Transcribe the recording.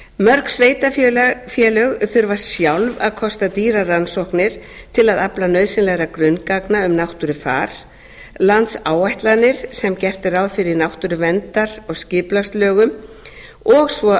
mörg sveitarfélög þurfa sjálf að kosta dýrar rannsóknir til að afla nauðsynlegra grunngagna um náttúrufar landsáætlanir sem gert er ráð fyrir í náttúruverndar og skipulagslögum og svo rammaáætlun